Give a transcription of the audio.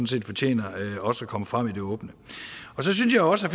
set fortjener også at komme frem i det åbne så synes jeg også